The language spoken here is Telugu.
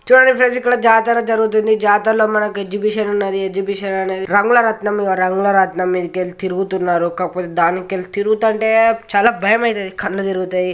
చూడండి ఫ్రెండ్స్ ఇక్కడ జాతర జరుగుతుంది. జాతరలో మనకి ఎగ్జిబిషన్ ఉన్నది. ఎగ్జిబిషన్ అనేది రంగుల రాట్నం. ఇగో రంగుల రాట్నం ఈడికెళ్ళి తిరుగుతున్నారు కాకపోతే దానికెళ్ళి తిరుగుతాంటే చాలా భయమైతది. కన్లు తిరుగుతయ్.